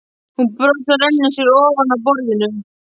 Hún brosir og rennir sér ofan af borðinu.